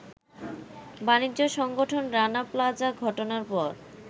বাণিজ্য সংগঠন রানা প্লাজা ঘটনার পর